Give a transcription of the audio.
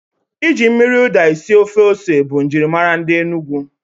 Ịjụ mkpụrụ ụda esi ofe ose bụ njirimara ndi Enugu